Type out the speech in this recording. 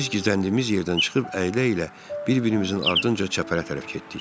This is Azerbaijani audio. Biz gizləndiyimiz yerdən çıxıb əylə-əylə bir-birimizin ardınca çəpərə tərəf getdik.